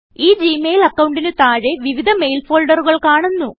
ഈ Gmail അക്കൌണ്ടിന് താഴെ വിവിധ മെയിൽ ഫോൾഡറുകൾ കാണുന്നു